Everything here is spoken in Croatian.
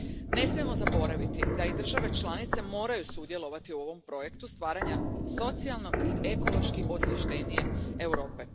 Ne smijemo zaboraviti da i države članice moraju sudjelovati u ovom projektu stvaranja socijalno i ekološki osviještenije Europe.